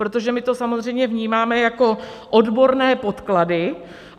Protože my to samozřejmě vnímáme jako odborné podklady.